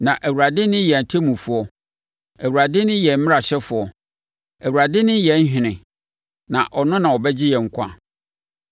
Na Awurade ne yɛn ɔtemmufoɔ, Awurade ne yɛn mmarahyɛfoɔ, Awurade ne yɛn ɔhene; na ɔno na ɔbɛgye yɛn nkwa.